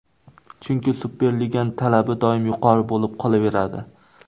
Chunki Superliganing talabi doim yuqori bo‘lib qolaveradi.